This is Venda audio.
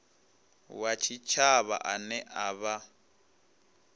wa tshitshavha ane a vha